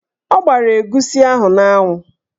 Ọ gbara egusi ahụ n'anwụ.